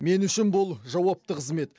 мен үшін бұл жауапты қызмет